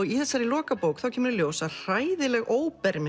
í þessari lokabók kemur í ljós að hræðileg